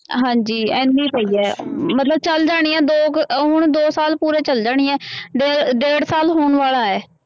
ਹਾਂਜੀ ਇੰਨੀ ਪਈ ਹੈ ਮਤਲਬ ਚੱਲ ਜਾਣੀ ਹੈ ਦੋ ਕੁ ਹੁਣ ਦੋ ਸਾਲ ਪੂਰੇ ਚੱਲ ਜਾਣੀ ਹੈ ਡੇ ਡੇਢ ਸਾਲ ਹੋਣ ਵਾਲਾ ਹੈ।